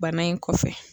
Bana in kɔfɛ